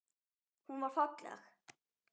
Hún var falleg.